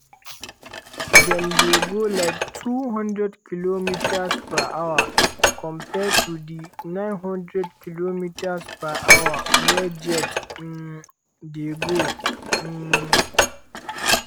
dem dey go like 200km/h compare to di 900km/h wey jet um dey go". um